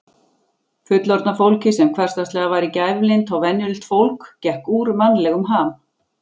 Fullorðna fólkið sem hversdagslega var gæflynt og venjulegt fólk gekk úr mannlegum ham.